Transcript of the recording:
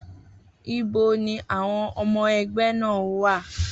Ibo ni àwọn ọmọ ẹgbẹ́ náà wà?